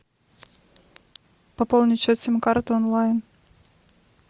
пополнить счет сим карты онлайн